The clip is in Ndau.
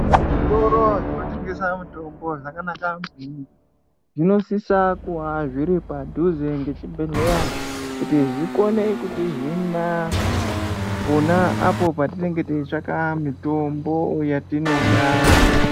Zvitoro zvinotengese mitombo zvakanaka maningi. Zvinosisa kuwa zviri padhuze ngechibhehleya kuti zvikone kutihina pona apo patinenge teitsvaka mitombo yatinoda.